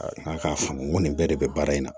A k'a faamu ko nin bɛɛ de bɛ baara in na